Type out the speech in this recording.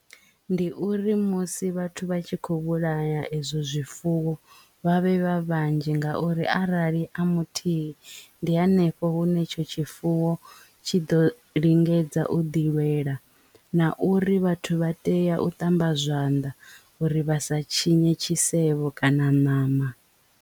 Ndi uri musi vhathu vha tshi kho vhulaya ezwo zwifuwo vha vhe vha vhanzhi ngauri arali a muthihi ndi hanefho hune etsho tshifuwo tshi ḓo lingedza u ḓi lwela na uri vhathu vha tea u ṱamba zwanḓa uri vha sa tshinye tshisevho kana ṋama.